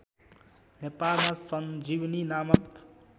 नेपालमा सञ्जीवनी नामक